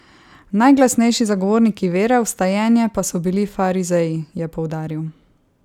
Najglasnejši zagovorniki vere v vstajenje pa so bili farizeji, je poudaril.